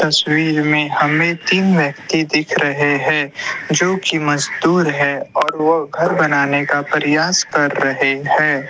तस्वीर में हमें तीन व्यक्ति दिख रहे है जो कि मजदूर है और वो घर बनाने का प्रयास कर रहे है।